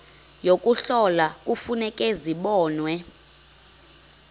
yokuhlola kufuneka zibonwe